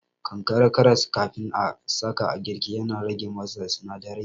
Kankare karas kafin a sa a girki yana rage masa sinadarai